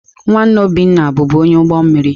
Nwanne Obinna bụbu onye ụgbọ mmiri.